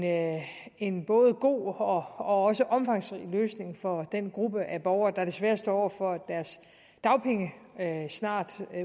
en både god og også omfangsrig løsning for den gruppe af borgere der desværre står over for at deres dagpenge snart